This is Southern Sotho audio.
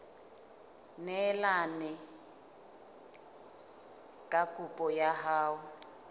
neelane ka kopo ya hao